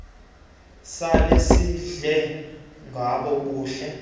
lasezindle gbo buhle